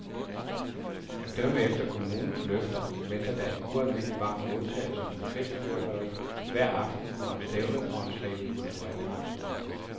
At dømme efter kommunens løfter venter der en ualmindelig varm modtagelse med festfyrværkeri hver aften under stævnet og en stribe kulturelle arrangementer.